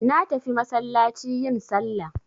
Natafi masallaci yin sallah.